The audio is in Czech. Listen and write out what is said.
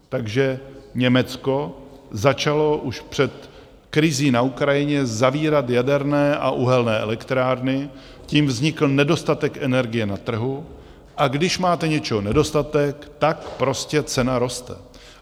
Takže Německo začalo už před krizí na Ukrajině zavírat jaderné a uhelné elektrárny, tím vznikl nedostatek energie na trhu, a když máte něčeho nedostatek, tak prostě cena roste.